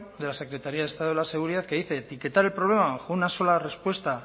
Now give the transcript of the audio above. de la secretaría de estado de la seguridad que dice etiquetar el problema bajo una sola respuesta